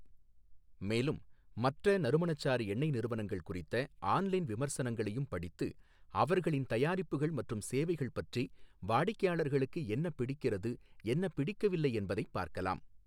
மேலும், மற்ற நறுமணச்சாறு எண்ணெய் நிறுவனங்கள் குறித்த ஆன்லைன் விமர்சனங்களையும் படித்து, அவர்களின் தயாரிப்புகள் மற்றும் சேவைகள் பற்றி வாடிக்கையாளர்களுக்கு என்ன பிடிக்கிறது, என்ன பிடிக்கவில்லை என்பதைப் பார்க்கலாம்.